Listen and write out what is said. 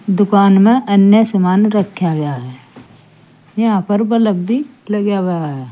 दुकान में अन्य सामान रखा गया है यहां पर बल्ब भी लगा हुआ है।